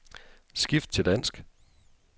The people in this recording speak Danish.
Skift til dansk.